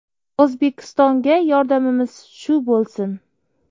O‘zbekistonga yordamimiz shu bo‘lsin”.